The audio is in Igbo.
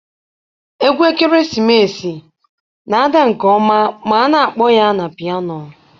Egwu ekeresimesi na-ada nke ọma ma a na-akpọ ya na piano.